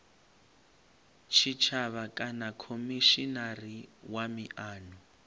tshitshavha kana khomishinari wa miano